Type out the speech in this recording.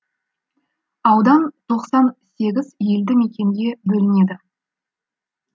аудан тоқсан сегіз елді мекенге бөлінеді